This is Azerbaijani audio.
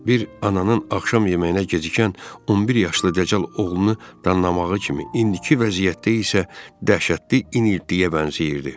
Bir ananın axşam yeməyinə gecikən 11 yaşlı dəcəl oğlunu danlamağı kimi, indiki vəziyyətdə isə dəhşətli iniltiyə bənzəyirdi.